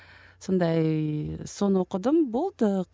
сондай соны оқыдым болды